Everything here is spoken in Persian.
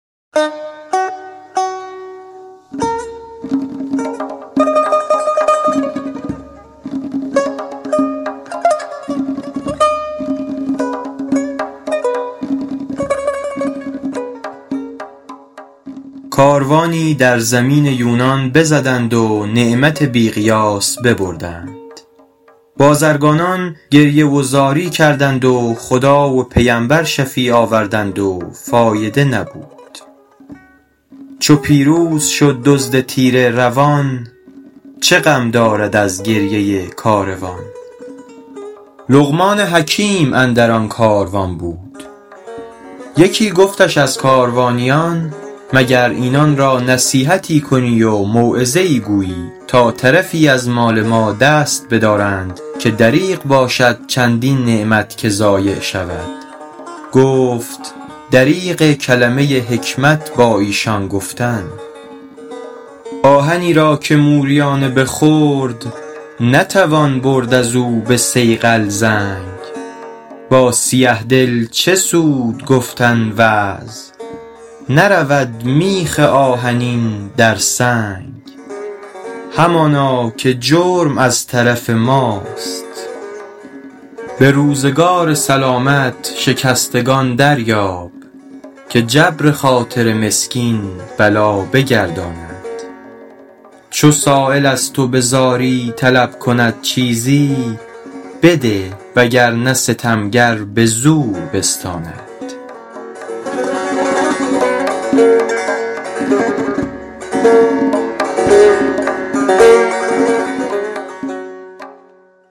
کاروانی در زمین یونان بزدند و نعمت بی قیاس ببردند بازرگانان گریه و زاری کردند و خدا و پیمبر شفیع آوردند و فایده نبود چو پیروز شد دزد تیره روان چه غم دارد از گریه کاروان لقمان حکیم اندر آن کاروان بود یکی گفتش از کاروانیان مگر اینان را نصیحتی کنی و موعظه ای گویی تا طرفی از مال ما دست بدارند که دریغ باشد چندین نعمت که ضایع شود گفت دریغ کلمه حکمت با ایشان گفتن آهنی را که موریانه بخورد نتوان برد از او به صیقل زنگ با سیه دل چه سود گفتن وعظ نرود میخ آهنی در سنگ همانا که جرم از طرف ماست به روزگار سلامت شکستگان دریاب که جبر خاطر مسکین بلا بگرداند چو سایل از تو به زاری طلب کند چیزی بده وگرنه ستمگر به زور بستاند